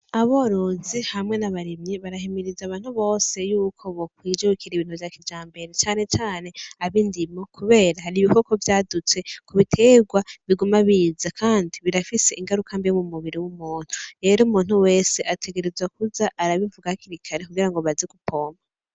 Aborozi hamwe n'abarimyi barahimiriza abantu bose yuko bo kwijukira ibintu vya kijambere cane cane abindimo kubera hari ibikoko vyadutse m'ubiterwa, Biguma biza kandi birafise ingaruka mbi m'umubiri w'umuntu rero umuntu wese ategerezwa kuza arabivuga hakiri kare kugira baze gupompa.